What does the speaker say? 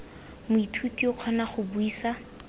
moithuti o kgona go buisa